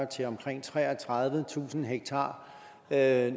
til omkring treogtredivetusind ha